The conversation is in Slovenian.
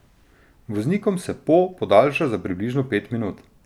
Voznikom se po podaljša za približno pet minut.